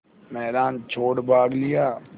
मैदान छोड़ भाग लिया